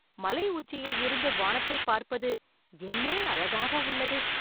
மலை உச்சியில் இருந்து வானத்தை பார்ப்பது என்னே அழகாக உள்ளது